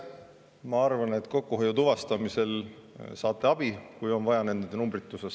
Ma arvan, et kokkuhoiu tuvastamisel saate abi, kui on vaja nende numbrite osas.